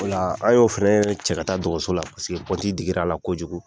O la an ye o fɛnɛ cɛ ka taa dɔgɔso la paseke pɔnti digira a la kojugu.